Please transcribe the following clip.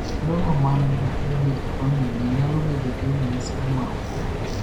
Jogo man gi tuoni e famili nyalo bedo gi ranyisi ma opogore.